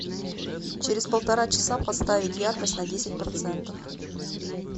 через полтора часа поставить яркость на десять процентов